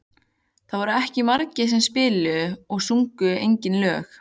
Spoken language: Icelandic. Það voru ekki margir sem spiluðu og sungu eigin lög.